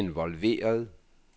involveret